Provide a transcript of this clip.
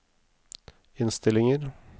innstillinger